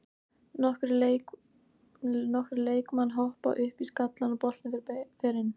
Nokkrir leikmann hoppa upp í skallann og boltinn fer inn.